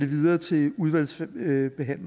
videre til udvalgsbehandlingen det